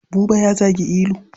Buba ya zagi Ilu.